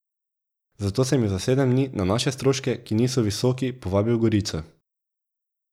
Zato sem ju za sedem dni na naše stroške, ki niso visoki, povabil v Gorico.